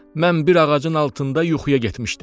Mən bir ağacın altında yuxuya getmişdim.